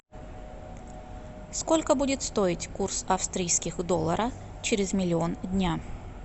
сколько будет стоить курс австрийских доллара через миллион дня